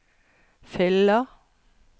fyller